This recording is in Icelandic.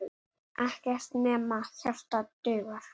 Ekkert nema hjarta dugar.